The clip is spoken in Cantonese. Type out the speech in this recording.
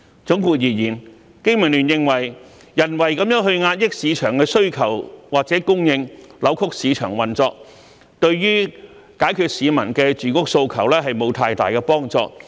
總括而言，經民聯認為人為地壓抑市場的需求或供應，扭曲市場運作，對解決市民住屋訴求沒有太大幫助。